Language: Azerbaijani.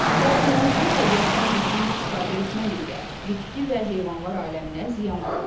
Lakin insan təbiətdən düzgün istifadə etmədikdə bitki və heyvanlar aləminə ziyan vurur.